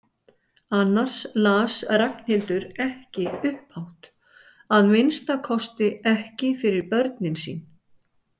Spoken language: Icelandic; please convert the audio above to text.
Annars las Ragnhildur ekki upphátt, að minnsta kosti ekki fyrir börnin sín.